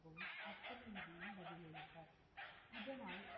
இதனால்,